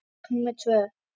Borg númer tvö.